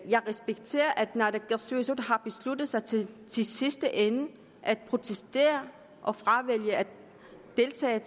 jeg respekterer at naalakkersuisut har besluttet sig til i sidste ende at protestere og fravælge at deltage